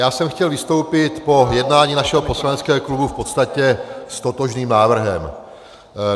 Já jsem chtěl vystoupit po jednání našeho poslaneckého klubu v podstatě s totožným návrhem.